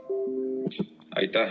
Läbirääkimiste soovi ka ei ole.